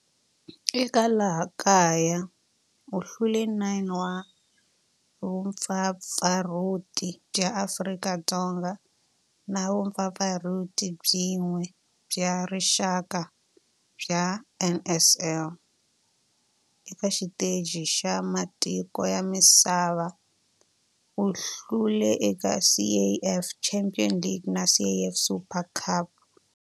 Eka laha kaya u hlule 9 wa vumpfampfarhuti bya Afrika-Dzonga na vumpfampfarhuti byin'we bya rixaka bya NSL. Eka xiteji xa matiko ya misava, u hlule eka CAF Champions League na CAF Super Cup.